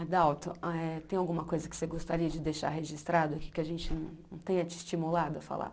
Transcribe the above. Adalto, eh tem alguma coisa que você gostaria de deixar registrado aqui que a gente não tenha te estimulado a falar?